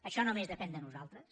això només depèn de nosaltres